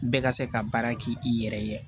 Bɛɛ ka se ka baara k'i yɛrɛ ye